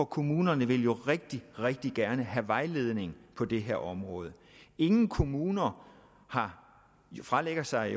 kommunerne vil jo rigtig rigtig gerne have vejledning på det her område ingen kommuner fralægger sig